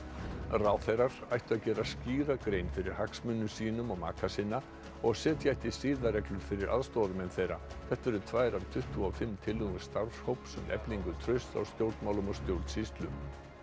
ráðherrar ættu að gera skýra grein fyrir hagsmunum sínum og maka sinna og setja ætti siðareglur fyrir aðstoðarmenn þeirra þetta eru tvær af tuttugu og fimm tillögum starfshóps um eflingu trausts á stjórnmálum og stjórnsýslu